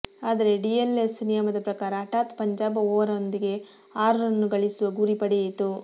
ಆದರೆ ಡಿಎಲ್ಎಸ್ ನಿಯಮದ ಪ್ರಕಾರ ಹಠಾತ್ ಪಂಜಾಬ್ ಓವರೊಂದಕ್ಕೆ ಆರು ರನ್ ಗಳಿಸುವ ಗುರಿ ಪಡೆಯಿತು